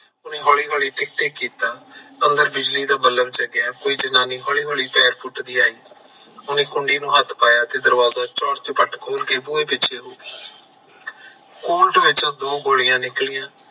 ਉਹਨੇ ਹੌਲੀ ਹੌਲੀ ਟਿੱਕ ਟਿੱਕ ਕੀਤਾ ਅੰਦਰ ਬਿਜਲੀ ਦਾ ਬਲਬ ਜਗਿਆ ਕੋਈ ਜਨਾਨੀ ਹੌਲੀ ਹੌਲੀ ਪੈਰ ਪੁੱਟਦੀ ਆਈ ਉਹਨੇ ਕੁੰਡੀ ਚੋਂ ਹੱਥ ਪਾਇਆ ਉਹਨੇ ਦਰਵਾਜਾ ਕੋਟ ਵਿੱਚੋਂ ਦੋ ਗੋਲੀਆਂ ਨਿਕਲੀਆਂ